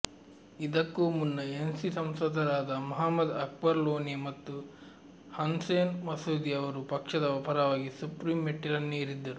ಇದಕ್ಕೂ ಮುನ್ನ ಎನ್ಸಿ ಸಂಸದರಾದ ಮುಹಮ್ಮದ್ ಅಕ್ಬರ್ ಲೋನೆ ಮತ್ತು ಹಸ್ನೈನ್ ಮಸೂದಿ ಅವರು ಪಕ್ಷದ ಪರವಾಗಿ ಸುಪ್ರೀಂ ಮೆಟ್ಟಿಲನ್ನೇರಿದ್ದರು